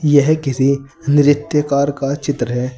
यह किसी नृत्य कार का चित्र है।